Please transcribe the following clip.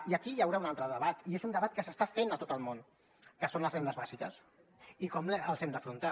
i aquí hi haurà un altre debat i és un debat que s’està fent a tot el món que són les rendes bàsiques i com les hem d’afrontar